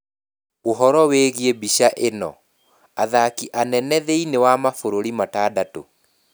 Ũhoro wĩgiĩ mbica ĩno: athaki anene thĩinĩ wa mabũrũri matandatũ.